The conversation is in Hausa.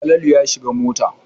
Falalu ya shiga mota.